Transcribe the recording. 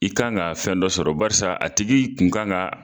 I kan ga fɛn dɔ sɔrɔ barisa a tigi kun kan ga